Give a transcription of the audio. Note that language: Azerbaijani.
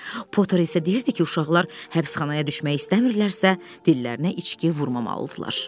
Potter isə deyirdi ki, uşaqlar həbsxanaya düşmək istəmirlərsə, dillərinə içki vurmammalıdırlar.